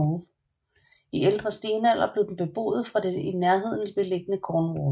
I Ældre stenalder blev den beboet fra det i nærheden beliggende Cornwall